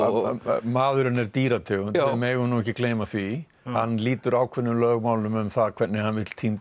maðurinn er dýrategund við megum ekki gleyma því hann lýtur ákveðnum lögmálum um það hvernig hann vill